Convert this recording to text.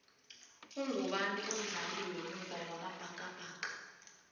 ugubani umdlali wemuva wamabhakabhaka